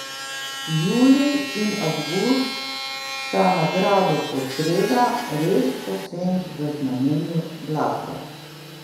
Julij in avgust sta na gradu Podsreda res povsem v znamenju glasbe.